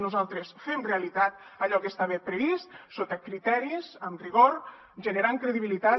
nosaltres fem realitat allò que estava previst sota criteris amb rigor generant credibilitat